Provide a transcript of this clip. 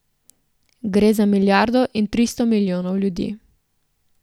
Gre za milijardo in tristo milijonov ljudi.